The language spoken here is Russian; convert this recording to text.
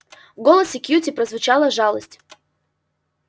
в голосе кьюти прозвучала жалость